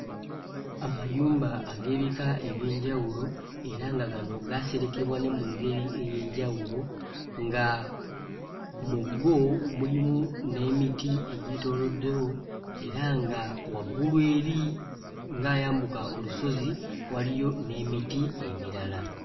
Amayumba ag'ebika eby'enjawulo era nga gano gaaserekebwa ne mu ngeri ey'enjawulo nga mu go mulimu n'emiti egyetooloddewo era nga waggulu eri ng'ayambuka olusozi waliyo n'emiti emirala.